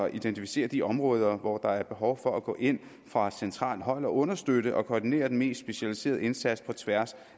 identificere de områder hvor der er behov for at gå ind fra centralt hold og understøtte og koordinere den mest specialiserede indsats på tværs